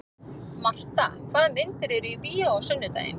Marta, hvaða myndir eru í bíó á sunnudaginn?